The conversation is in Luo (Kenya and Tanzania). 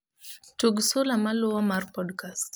Tugo sula maluwo mar podcast